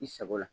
I sago la